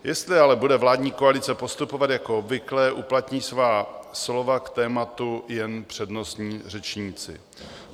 Jestli ale bude vládní koalice postupovat jako obvykle, uplatní svá slova k tématu jen přednostní řečníci.